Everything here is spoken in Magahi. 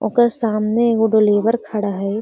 ओकर सामने एगो लेबर खड़ा हई |